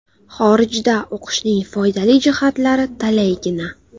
Xorijda o‘qishning foydali jihatlari talaygina.